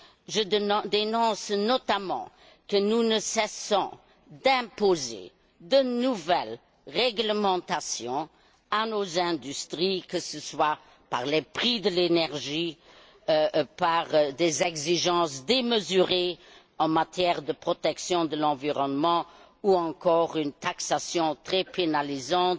Je dénonce notamment le fait que nous ne cessons d'imposer de nouvelles réglementations à nos industries, que ce soit par les prix de l'énergie, par des exigences démesurées en matière de protection de l'environnement ou encore par une fiscalité très pénalisante.